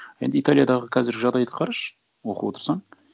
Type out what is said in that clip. енді италиядағы қазір жағдайды қарашы оқып отырсаң